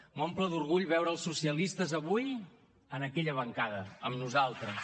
m’omple d’orgull veure els socialistes avui en aquella bancada amb nosaltres